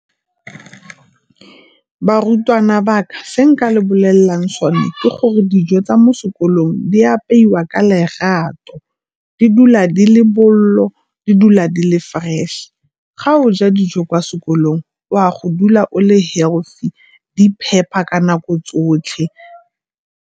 Barutwana ba ka, se nka le bolelelang sone ke gore dijo tsa mo sekolong di apeiwa ka lerato. Di dula di le bollo, di dula di le fresh-e. Ga o ja dijo kwa sekolong o a go dula o le healthy, di phepa ka nako tsotlhe.